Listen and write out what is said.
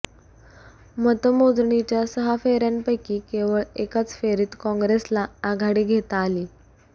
मतमोजणीच्या सहा फेऱ्यांपैकी केवळ एकाच फेरीत काँग्रेसला आघाडी घेता आली